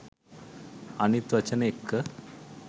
අනිත් වචන එක්ක